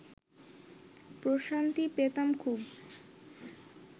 প্রশান্তি পেতাম খুব